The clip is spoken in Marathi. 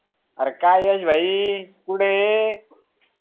अरे काय यश भाई कुढं ये